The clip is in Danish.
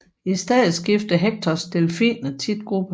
I stedet skifter Hectors delfiner tit gruppe